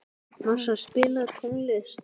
Marsa, spilaðu tónlist.